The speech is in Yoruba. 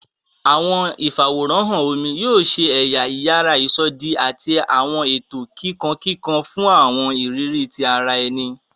Awọn ifaworanhan omí yóò ṣe ẹya iyàrá isọdi ati awọn eto kikankikan fun awọn iriri ti ará ẹni.